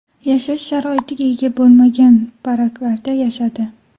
Yashash sharoitiga ega bo‘lmagan baraklarda yashadi.